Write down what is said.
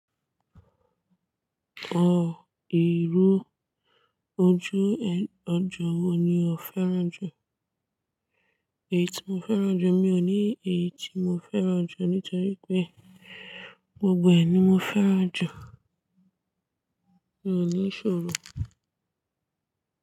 Ọ ìró ojú ọjọ́ wo ni ó fẹ́ràn jù? Èyí tí mo fẹ́ràn jù, mi ò ní èyí tí mo fẹ́ràn jù nítorí pé gbogbo ẹ̀ ni mo fẹ́ràn jù. Mi ò ní ìṣòro.